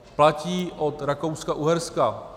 Platí od Rakouska-Uherska.